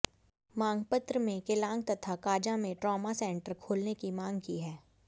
मांगपत्र में केलांग तथा काजा में ट्रॉमा सेंटर खोलने की मांग की है